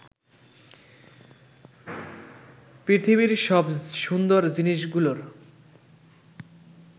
পৃথিবীর সব সুন্দর জিনিসগুলোর